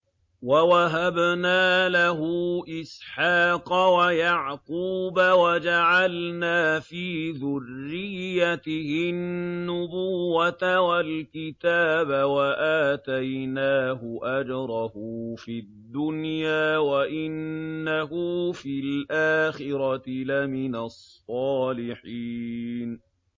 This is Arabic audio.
وَوَهَبْنَا لَهُ إِسْحَاقَ وَيَعْقُوبَ وَجَعَلْنَا فِي ذُرِّيَّتِهِ النُّبُوَّةَ وَالْكِتَابَ وَآتَيْنَاهُ أَجْرَهُ فِي الدُّنْيَا ۖ وَإِنَّهُ فِي الْآخِرَةِ لَمِنَ الصَّالِحِينَ